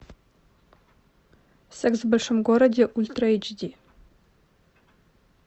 секс в большом городе ультра эйч ди